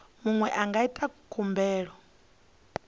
muṅwe a nga ita khumbelo